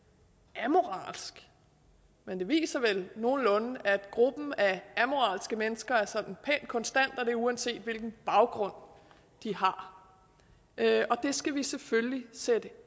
amoralsk men det viser vel nogenlunde at gruppen af amoralske mennesker er sådan pænt konstant uanset hvilken baggrund de har det skal vi selvfølgelig sætte